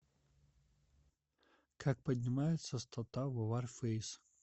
как поднимается стата в варфейс